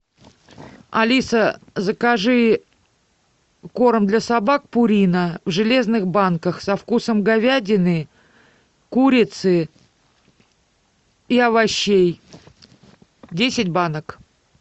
алиса закажи корм для собак пурина в железных банках со вкусом говядины курицы и овощей десять банок